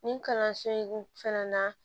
Nin kalanso in fɛnɛ na